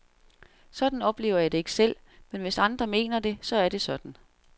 Sådan oplever jeg det ikke selv, men hvis andre mener det, så er det sådan.